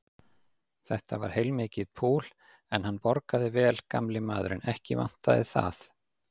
Þetta var heilmikið púl, en hann borgaði vel gamli maðurinn, ekki vantaði það.